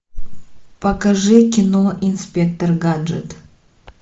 покажи кино инспектор гаджет